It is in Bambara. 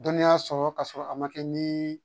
Dɔnniya sɔrɔ ka sɔrɔ a ma kɛ ni